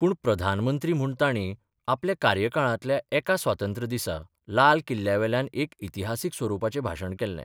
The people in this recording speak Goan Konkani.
पूण प्रधानमंत्री म्हूण तांणी आपल्या कार्यकाळांतल्या एका स्वातंत्र्य दिसा लाल किल्ल्यावेल्यान एक इतिहासीक स्वरुपाचें भाशण केल्लें.